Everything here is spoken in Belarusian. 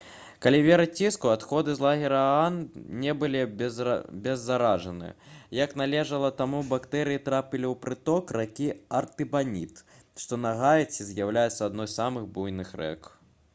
калі верыць іску адходы з лагера аан не былі абеззаражаны як належала таму бактэрыі трапілі ў прыток ракі артыбаніт што на гаіці з'яўляецца адной з самых буйных рэк